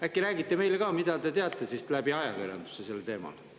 Äkki räägite meile ka, mida te siis teate ajakirjanduse kaudu sellest teemast?